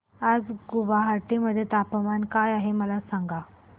आज गुवाहाटी मध्ये तापमान काय आहे मला सांगा